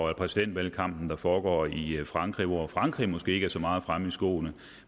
af præsidentvalgkampen der foregår i frankrig hvor frankrig måske ikke er så meget fremme i skoene